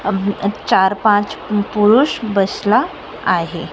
अब चार पाच पु पुरुष बसला आहे.